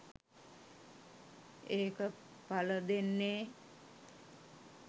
ඒක පලදෙන්නේ